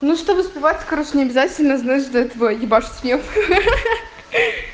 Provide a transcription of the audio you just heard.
ну чтобы успевать хорошо не обязательно знаешь для этого ебашить снег ха ха ха